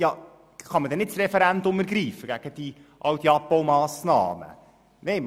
«Kann man denn nicht das Referendum gegen all diese Abbaumassnahmen ergreifen?